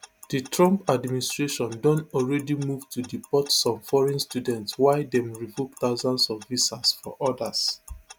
di trump administration don already move to deport some foreign students while dem revoke thousands of visas for odas